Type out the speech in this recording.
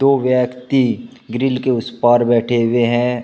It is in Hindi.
व्यक्ति ग्रिल के उस पार बैठे हुए हैं।